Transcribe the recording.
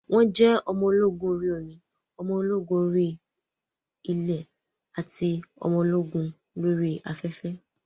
Wọ́n jẹ́ ọmọ ológun orí ilẹ̀, ọmọ ológun orí omi ati ọmọ ológun orí afẹ́fẹ́.